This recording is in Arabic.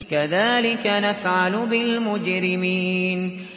كَذَٰلِكَ نَفْعَلُ بِالْمُجْرِمِينَ